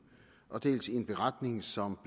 dels i en beretning som